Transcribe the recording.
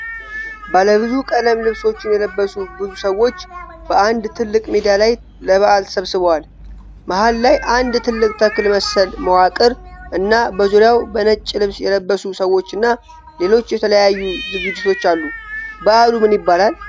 ባለብዙ ቀለም ልብሶችን የለበሱ ብዙ ሰዎች በአንድ ትልቅ ሜዳ ላይ ለበዓል ተሰብስበዋል። መሃል ላይ አንድ ትልቅ ተክል መሰል መዋቅር እና በዙሪያው በነጭ ልብስ የለበሱ ሰዎችና ሌሎች የተለያዩ ዝግጅቶች አሉ። በዓሉ ምን ይባላል?